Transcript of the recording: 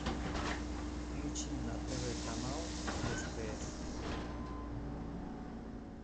включи на тв канал стс